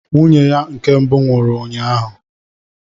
Nwunye ya nke mbụ nwụrụ ụnyaahụ.